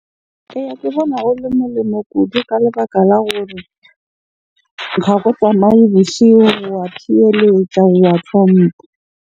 Eya, ke bona ho le molemo kudu ka lebaka la hore ha tsamaye boshigo, wa thibeletsa, wa .